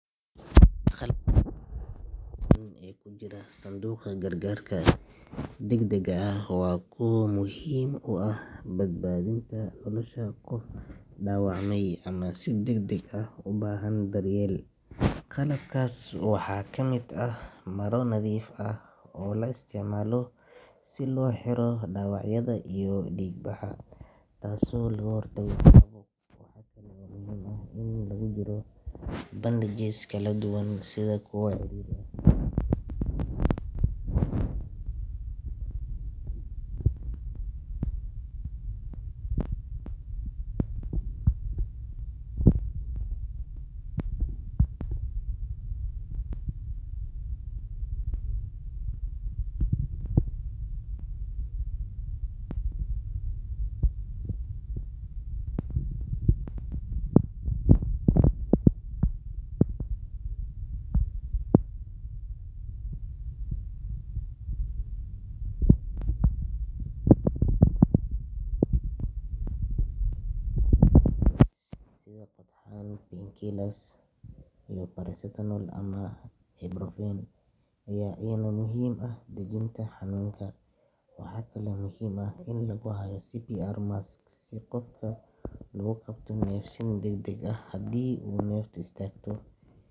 Qalabka ugu wanaagsan ee ku jira sanduuqa gargarka degdegga ah waa kuwa muhiim u ah badbaadinta nolosha qof dhaawacmay ama si degdeg ah u baahan daryeel. Qalabkaas waxaa ka mid ah maro nadiif ah oo la isticmaalo si loo xiro dhaawacyada iyo dhiigbaxa, taasoo looga hortago caabuq. Waxaa kale oo muhiim ah in lagu jiro bandages kala duwan sida kuwa ciriiri ah iyo kuwa ballaaran oo loo adeegsado dhaawacyada kala duwan. Antiseptic wipes iyo dareereyaal nadiifin ah sida hydrogen peroxide ayaa lagama maarmaan u ah in lagu nadiifiyo dhaawacyada si looga hortago jeermis. Waxaa sidoo kale muhiim ah in lagu hayo gloves nadiif ah oo la iska gashado kahor inta aan qof la taabanin, si loo ilaaliyo nadaafadda. Qalabkan waxaa lagu daraa scissors si loo gooyo maro, dhar ama qalab kale, iyo tweezers si looga saaro waxyaabaha yaryar sida qodxan. Painkillers sida paracetamol ama ibuprofen ayaa iyana muhiim u ah dejinta xanuunka. Waxaa kaloo muhiim ah in lagu hayo CPR mask si qofka loogu qabto neefsiin degdeg ah haddii uu neeftu istaagto.